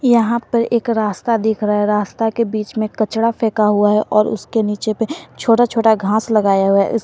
यहां पर एक रास्ता दिख रहा है रास्ता के बीच में कचरा फेंका हुआ है और उसके नीचे पर छोटा छोटा घास लगाया हुआ है।